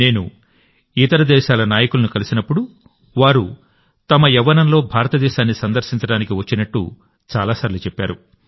నేను ఇతర దేశాల నాయకులను కలిసినప్పుడు వారు తమ యవ్వనంలో భారతదేశాన్ని సందర్శించడానికి వచ్చినట్టు చాలాసార్లు చెప్పారు